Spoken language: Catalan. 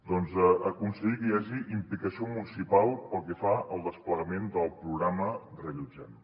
doncs a aconseguir que hi hagi implicació municipal pel que fa al desplegament del programa reallotgem